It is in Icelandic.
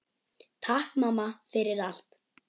Takk mamma, fyrir allt.